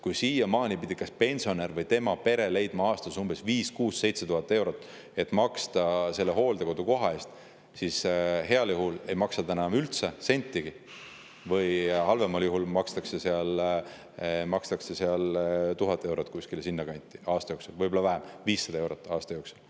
Kui siiamaani pidi kas pensionär või tema pere leidma aastas 5000, 6000, 7000 eurot, et maksta hooldekodukoha eest, siis nüüd heal juhul ei maksa nad üldse sentigi või halvemal juhul maksavad kuskil 1000 eurot või sinna kanti aasta jooksul, võib-olla vähemgi, 500 eurot aasta jooksul.